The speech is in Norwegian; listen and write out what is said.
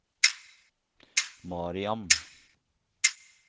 Mariam